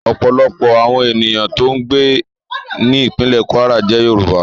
Ọ̀pọ̀lọpọ̀ àwọn ènìyàn tó ń gbé ní ìpínlè Kwara jẹ́ Yorùbá